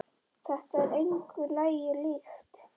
Þetta er engu lagi líkt.